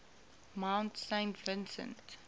mount saint vincent